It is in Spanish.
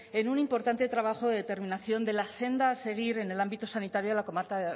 en un importante trabajo de determinación de la senda a seguir en el ámbito sanitario